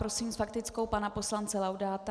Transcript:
Prosím s faktickou pana poslance Laudáta.